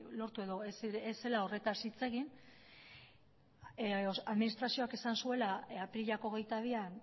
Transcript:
lortu edo ez zela horretaz hitz egin administrazioak esan zuela apirilak hogeita bian